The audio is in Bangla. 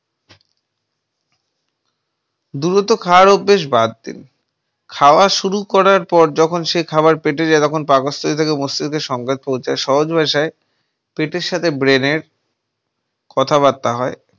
দ্রুত খাওয়ার অভ্যেস বাদ দিন । খাওয়া শুরু করার পর যখন সেই খাবার পেটে যায় তখন পাকস্থলি থেকে মস্তিষ্কে সংবাদ পৌঁছায় সহজ ভাষায় পেটের সাথে brand কথাবার্তা হয় ।